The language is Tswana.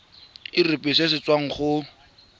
irp se se tswang go